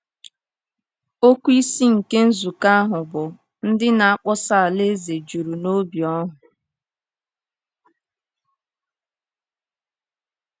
Okwu isi nke nzukọ ahụ bụ “Ndị Na-akpọsa Alaeze Juru N’obi Ọhụụ.”